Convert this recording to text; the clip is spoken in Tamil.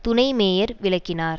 துணை மேயர் விளக்கினார்